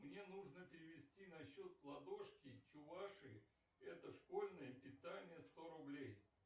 мне нужно перевести на счет ладошки чувашии это школьное питание сто рублей